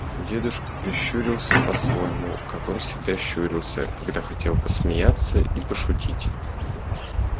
дедушка прищурился по-своему как он всегда щурился когда хотел посмеяться и пошутить